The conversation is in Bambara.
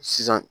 Sisan